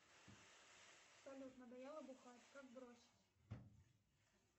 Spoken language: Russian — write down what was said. салют надоело бухать как бросить